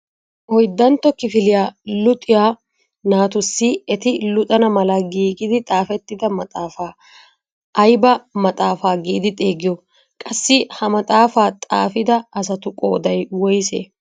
Oyddantto kifiliyaa luxiyaa natussi eti luxana mala giigidi xaafettida maaxaafaa ayba maxaafaa giidi xeegiyoo? qassi ha maxaafaa xaafida asatu qooday woysee?